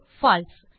பால்சே